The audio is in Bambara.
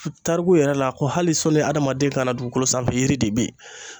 Tariku yɛrɛ la ko hali sɔnni adamaden ka na dugukolo sanfɛ yiri de bɛyi.